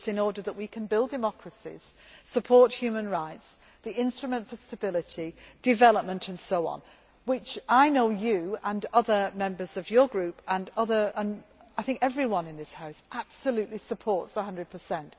service. It is in order that we can build democracies, support human rights, the instrument for stability, development and so on, which I know you and other members of your group and I think everyone in this House absolutely supports one hundred